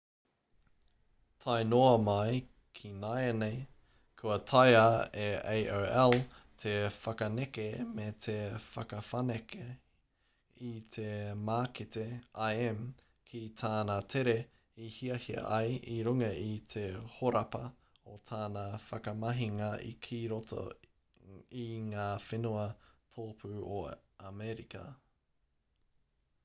tae noa mai ki nāianei kua taea e aol te whakaneke me te whakawhanake i te mākete im ki tāna tere i hiahia ai i runga i te horapa o tana whakamahinga ki roto i ngā whenua tōpū o amerika